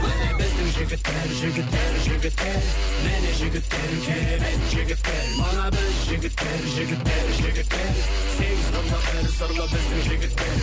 міне біздің жігіттер жігіттер жігіттер міне жігіттер керемет жігіттер мына біз жігіттер жігіттер жігіттер сегіз қырлы бір сырлы біздің жігіттер